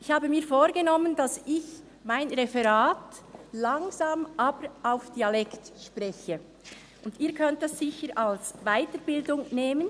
Ich habe mir vorgenommen, dass ich mein Referat langsam, aber in Dialekt spreche, und Sie können dies sicher als Weiterbildung nehmen.